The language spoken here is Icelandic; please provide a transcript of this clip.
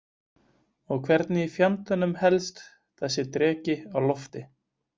Og hvernig í fjandanum helst þessi dreki á lofti?